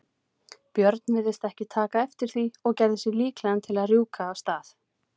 björn virtist ekki taka eftir því og gerði sig líklegan til að rjúka af stað.